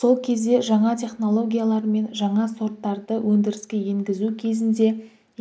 сол кезде жаңа технологиялар мен жаңа сорттарды өндіріске енгізу кезінде